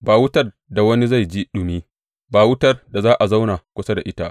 Ba wutar da wani zai ji ɗumi; ba wutar da za a zauna kusa da ita.